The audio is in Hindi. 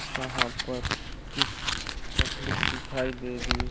जहाँ पर कुछ पब्लिक दिखाई दे रही है।